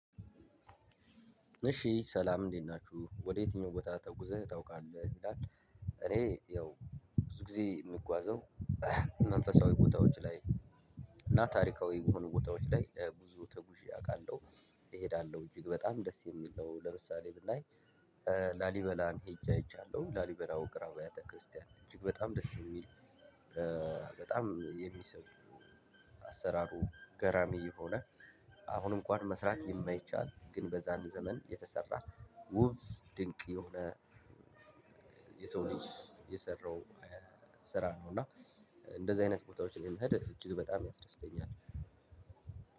እሺ ሰላም እንዴት ናችሁ ወደ የትኛው ቦታ ተጉዘህ ታውቃለህ ይላል? እኔ ያው ብዙ ጊዜ የምጓዘው መንፈሳዊ ቦታዎች ላይ። እና ታሪካዊ የሆኑ ቦታዎች ላይ ብዙ ተጉዤ አውቃለሁ። እሄዳለሁ እጅግ በጣም ደስ የሚል ነው። ለምሳሌ ብናይ። ላሊበላን ሄጄ አይቻለው ላሊበላ ውቅር አብያተ ክርስቲያን እጅግ በጣም ደስ የሚል። በጣም የሚስቡ አሰራሩ ገራሚ የሆነ። አሁን እንኳን መስራት የማይቻል ግን በዛን ዘመን የተሰራ ውብ ድንቅ የሆነ። የሰው ልጅ የሰራው ስራ ነው። እና እንደዚህ አይነት ቦታዎችን መሄድ እጅግ በጣም ያስደስተኛል።